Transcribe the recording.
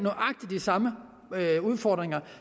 samme udfordringer